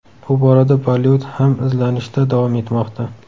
Bu borada Bollivud ham izlanishda davom etmoqda.